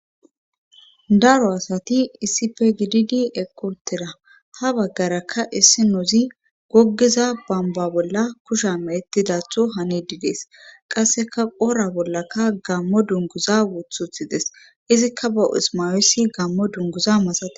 Daro asati issife gididi eqqotera ha baggarakka issi nuuzi goggiza bamba bolla kusha meetidatho hane didees qasseka qora bollaka gammo dunguza wuthuthides izikka ba ismawesi gammo dunguza masae